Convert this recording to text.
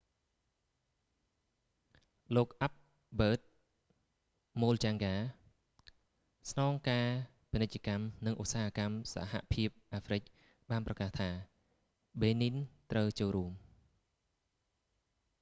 លោកអាល់ប៊ឺត មូលចាំងហ្កា albert muchanga ស្នងការពាណិជ្ជកម្ម និងឧស្សាហកម្មសហភាពអាហ្វ្រិកបានប្រកាសថា បេនីន benin ត្រូវចូលរួម